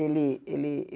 Ele ele